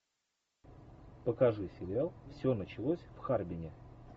покажи сериал все началось в харбине